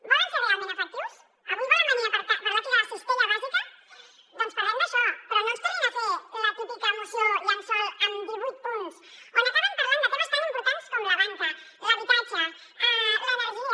volen ser realment efectius avui volen venir a parlar aquí de la cistella bàsica doncs parlem d’això però no ens tornin a fer la típica moció llençol amb divuit punts on acaben parlant de temes tan importants com la banca l’habitatge l’energia